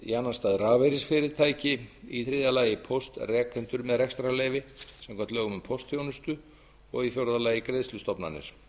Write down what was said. í annan stað rafeyrisfyrirtæki í þriðja lagi póstrekendur með rekstrarleyfi samkvæmt lögum um póstþjónustu og í fjórða lagi greiðslustofnanir